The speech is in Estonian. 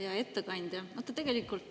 Hea ettekandja!